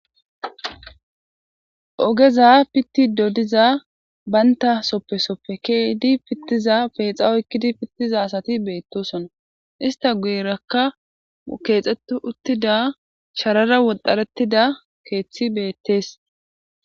ogeza pittido diza baynta soppesoppe keedi pittiza peexa oykkidi pittiza asati beettosona ista guyirakka keexxettu uttida sharara wodharettida keeththi beettees